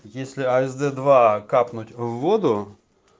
если асд-два капнуть в воду